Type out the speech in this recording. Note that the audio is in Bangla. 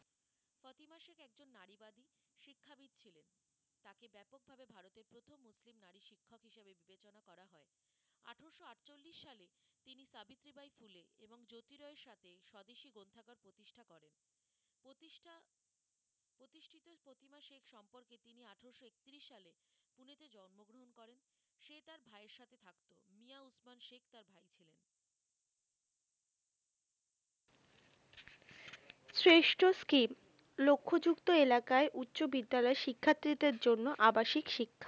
শ্রেষ্ঠ scheme লক্ষ যুক্ত এলাকায় উচ্চবিদ্যালয় শিক্ষার্থিদের জন্য আবাসিক শিক্ষা